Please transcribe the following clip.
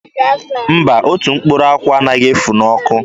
Mba, otu mkpụrụ akwụ anaghị efu n'ọkụ.